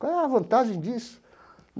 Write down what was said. Qual é a vantagem disso?